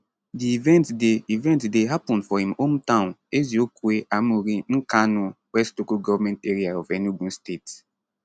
di event dey event dey happun for im hometown eziokwe amuri nkanu west local government area of enugu state